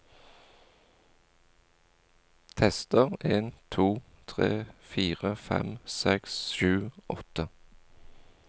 Tester en to tre fire fem seks sju åtte